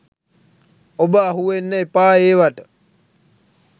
ඔබ අහුවෙන්න එපා ඒවට.